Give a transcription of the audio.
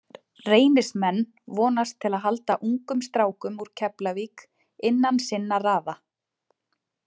Reynismenn vonast til að halda ungum strákum úr Keflavík innan sinna raða.